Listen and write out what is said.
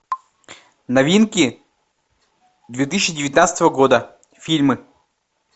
новинки две тысячи девятнадцатого года фильмы